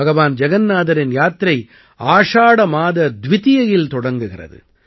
பகவான் ஜகன்னாதரின் யாத்திரை ஆஷாட மாத துவிதியையில் தொடங்குகிறது